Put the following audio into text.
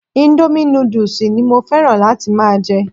Indomie noodles ni mo fẹ́ràn láti máa jẹ